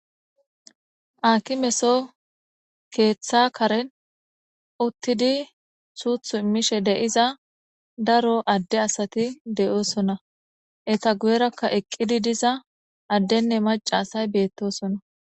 Aakimeson keeththa karen uuttidii suuththu immishe de'iza daro adde asati de'iossonna etta guyerakka eqqidi diza addenne maca asay bettossonna